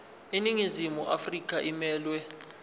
iningizimu afrika emelwe